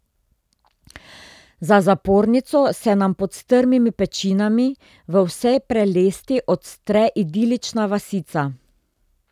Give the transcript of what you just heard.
Za zapornico se nam pod strmimi pečinami v vsej prelesti odstre idilična vasica.